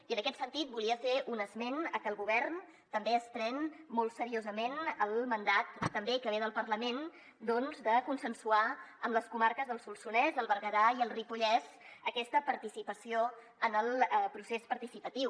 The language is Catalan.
i en aquest sentit volia fer un esment a que el govern també es pren molt seriosament el mandat també que ve del parlament doncs de consensuar amb les comarques del solsonès el berguedà i el ripollès aquesta participació en el procés participatiu